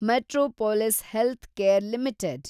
Metropolis healthcare limited